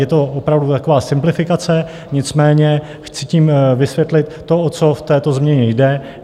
Je to opravdu taková simplifikace, nicméně chci tím vysvětlit to, o co v této změně jde.